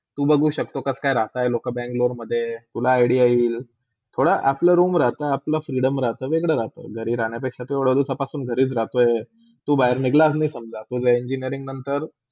तू, बघू शक्तो कसा राहता लोका बेंगलोरमधे, तुला idea येईल, थोडा आपला room राहता आपला freedom राहता, वेगळे राहतो घरी राहण्या पेक्शी, तू एवड्या दिवसांपासून घरी राहतो, तू बहार निंगलच नाही समझा तु engineering नंतर.